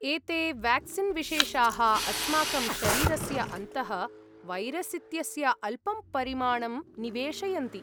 एते वेक्सीन् विशेषाः अस्माकं शरीरस्य अन्तः वैरस् इत्यस्य अल्पं परिमाणम् निवेशयन्ति।